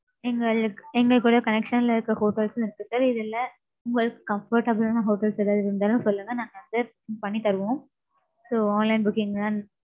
எங்களுக்கு எங்களுக்குள்ள connection ல இருக்க hotels உம் இருக்கு sir. இதுல உங்களுக்கு comfortable ஆன hotels எதாவது இருந்தாலும் சொல்லுங்க. நாங்க adjustment பண்ணி தருவோம். So online booking